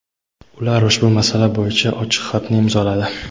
Ular ushbu masala bo‘yicha ochiq xatni imzoladi.